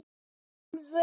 ef. tölvu